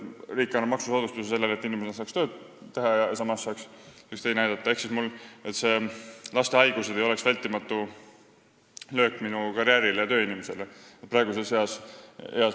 Riik annab maksusoodustust, selleks et üks inimene saaks tööd teha ja teine saaks aidata, et laste haigused ei oleks vältimatu löök tööinimestele ja nende karjäärile.